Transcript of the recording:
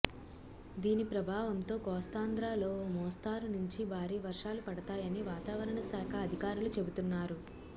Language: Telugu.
దీని ప్రభావంతో కోస్తాంధ్రలో ఓ మోస్తరు నుంచి భారీవర్షాలు పడతాయని వాతావరణశాఖ అధికారులు చెబుతున్నారు